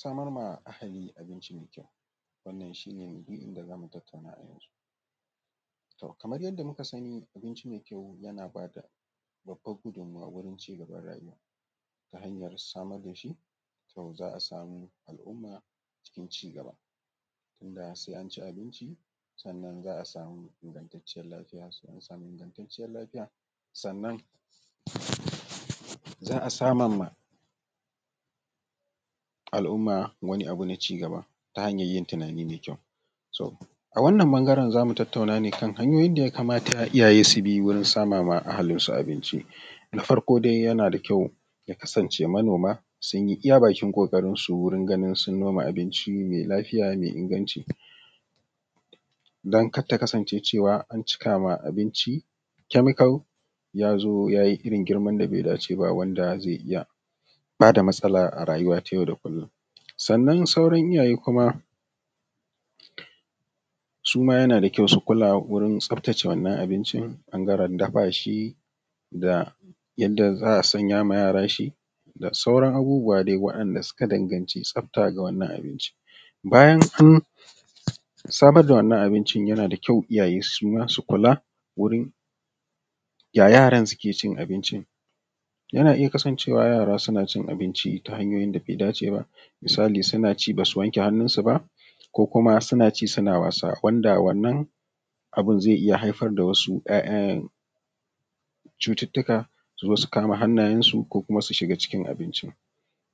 Samar wa iyali da abinci mai kyau, shi ne abin da zamu tattauna a yau tom kamar yadda muka sani abinci mai kyau yana bada babbar gudumuwa wurin cigabar rayuwar mu ta hanyar samar da shi, to za a samu al’umman cikin cigaba wanda sai an ci abinci sannan za a samu ingantacen lafiya, sannan za a samar ma al’umma wani abu na cigaba ta hanayar yin tunani mai kyau, so a wannan bangaren zamu tattauna ta yanda ya kamata iyaye su bi dan samar ma iyalinsu abinci, na farko dai yana da kyau ya kasance manoma sun yi iya bakin ƙoƙarin su wurin ganin sun noma abincin mai lafiya mai inganci dan kar ta kasance an cika ma abinci chemical yazo yayi irin wanda bai dace ba da zai iya bada matsala a rayuwa ta yau da kullum, sannan sauran iyaye kuma suma yana da kyau su kula wajen tsaftace wannan abinci bangaren dafa shi da yanda za a sanya ma yara shi da sauran abubuwa dai waɗanɗa suka danganci tsafta ga abinci, bayan an samar da wannan abinci yana da kyau iyaye suma su kula wurin ya yaran suke cin abincin yana iya kasancewa yara suna cin abinci ta hanyoyin dabai dace ba, misali suna ci basu wanke hannun su ba ko kuma suna ci suna wasa banda wannan abin zai iya haifar da wani ‘ya’yan cututuka ko su kama hannayen nasu ko kuma su shuga cikin abincin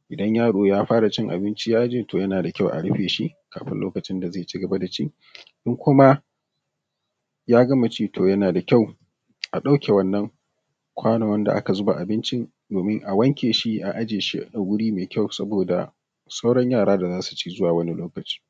idan yaro ya fara cin abinci yana da kyau a rufe shi kafin lokacin da zai cigaba da cin ko kuma ya gama ci yana da kyau a ɗauke wannan kwanon wanda aka zuba abincin domin a wanke shi a aje shi wuri mai kyau saboda sauran yara da zasu ci wani lokacin.